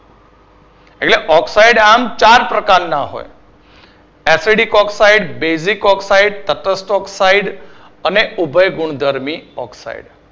એમ oxide આમ ચાર પ્રકારના હોય છે. methedic oxide, basic oxide તટસ્થ oxide અને ઊપયગુણધર્મી oxide